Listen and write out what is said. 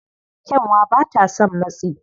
Kyanwa ba ta son matsi.